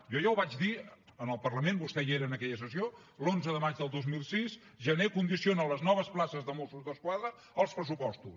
jo ja ho vaig dir en el parlament vostè hi era en aquella sessió l’onze de maig del dos mil setze jané condiciona les noves places de mossos d’esquadra als pressupostos